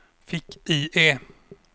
fick-IE